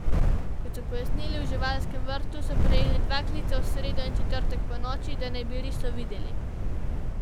Kot so pojasnili v živalskem vrtu, so prejeli dva klica v sredo in četrtek ponoči, da naj bi riso videli.